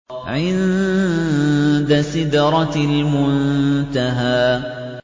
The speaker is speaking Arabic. عِندَ سِدْرَةِ الْمُنتَهَىٰ